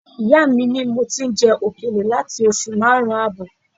Ìyá mi ni mo ti ń jẹ òkèlè láti oṣù márùn-ún ààbọ̀